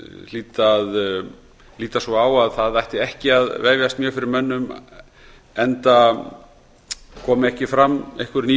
hlýt að líta svo á að það ætti ekki að vefjast mjög fyrir mönnum enda komu ekki fram einhver ný sjónarmið